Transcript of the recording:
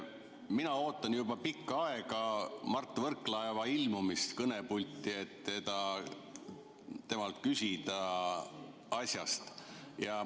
Mina ootan juba pikka aega Mart Võrklaeva ilmumist kõnepulti, et temalt küsida asja kohta.